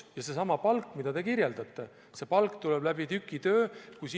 Seesama palk, mida te kirjeldasite, tuleb tükitöö alusel.